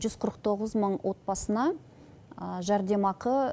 жүз қырық тоғыз мың отбасына жәрдемақы